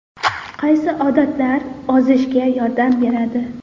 Qaysi odatlar ozishga yordam beradi?